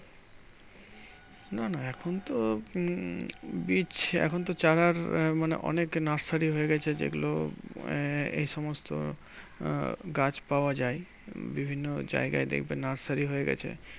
না না এখন তো উম বীচ এখনতো চারার মানে অনেক nursery হয়ে গেছে, যেগুলো আহ এই সমস্ত আহ গাছ পাওয়া যায়। উম বিভিন্ন জায়গায় দেখবে nursery হয়ে গেছে।